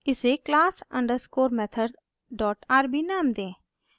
इसे class_methodsrb नाम दें